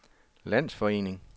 landsforening